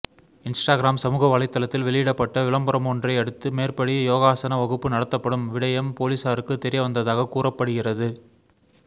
Instagram சமூக வலைத்தளத்தில் வெளியிடப்பட்ட விளம்பரமொன்றையடுத்து மேற்படி யோகாசன வகுப்பு நடத்தப்படும் விடயம் பொலிஸாருக்குத் தெரியவந்ததாக கூறப்படுகிறது